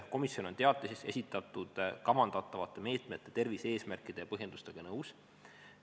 Komisjon on teatises esitatud kavandatavate meetmete, tervise-eesmärkide ja põhjendustega nõus.